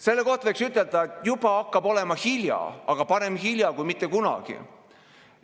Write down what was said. Selle kohta võiks ütelda, et juba hakkab olema hilja, aga parem hilja kui mitte kunagi.